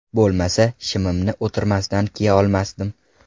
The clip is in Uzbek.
Bo‘lmasa, shimimni o‘tirmasdan kiya olmas edim.